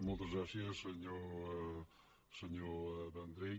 moltes gràcies senyor vendrell